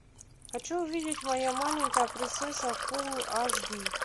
хочу увидеть моя маленькая принцесса фулл аш ди